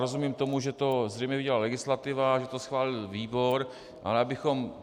Rozumím tomu, že to zřejmě udělala legislativa, že to schválil výbor, ale abychom...